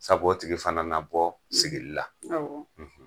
Sabu o tigi fana na bɔ sigi la!